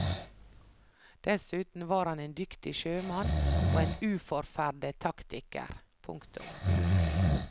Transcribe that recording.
Dessuten var han en dyktig sjømann og en uforferdet taktiker. punktum